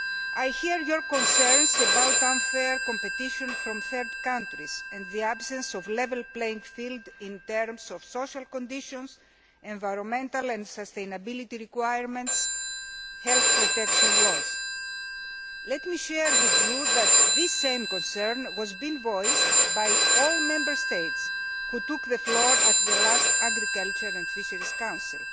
I hear your concerns about unfair competition from third countries and the absence of a level playing field in terms of social conditions, environmental and sustainability requirements and health protection laws. Let me tell you that this same concern was voiced by all the Member States which took the floor at the last Agriculture and Fisheries Council.